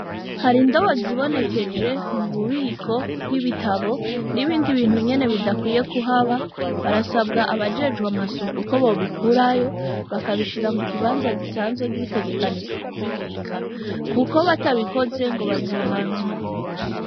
Hari indobo zibonekeje mu bubiko bw'ibitabo n'ibindi bintu nyene bidkwiye kuhaba barsabwa abajejwe amasuku ko bobikurayo bakabishira mu kibanza gisanzwe gitegekanijwe ku bibika kuko batabikoze ngo bazohanwa.